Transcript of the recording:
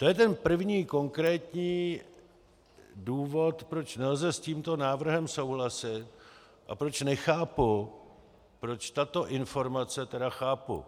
To je ten první konkrétní důvod, proč nelze s tímto návrhem souhlasit, a proč nechápu, proč tato informace - teda chápu.